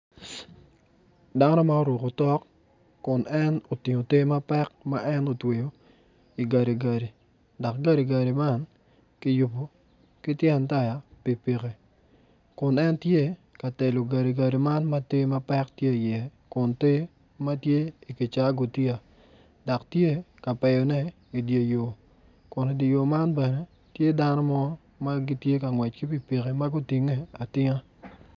Dano ma oruko otok kun en otingo te mapek ma en otweyo igadigadi dok gadigadi man kiyubo ki tyen taya pikipiki kun tye ka telo gadigadi man ma te mapek tye iye kun te ma tye ikicaa gutiya dok tye ka peyone idye yo kun idye yo man bene tye dano mo ma gitye ka ngwec ki pikipki ma gutinge.